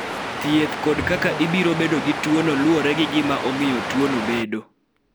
Thieth kod kaka ibiro bedo gi tuono luwore gi gima omiyo tuono bedo.